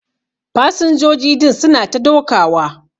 Fasinjoji din su na ta dokawa.